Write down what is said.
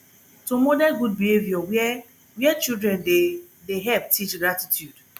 to model good behavour where where children dey dey help teach gratitude